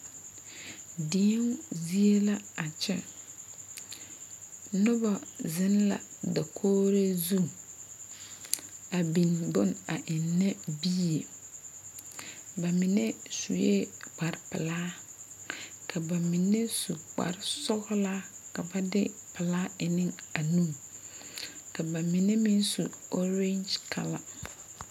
Deo zie la a kyɛ noba zeŋ la dakogri zu a biŋ bone a ennɛ bie ba mine sue kpare pelaa ka ba mine su kpare sɔgla ka ba de pelaa e ne nuns ba mine meŋ su ɔrɛɛ kala.